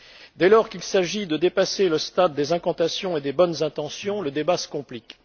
Dès lors qu'il s'agit de dépasser le stade des incantations et des bonnes intentions, le débat se complique.